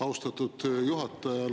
Austatud juhataja!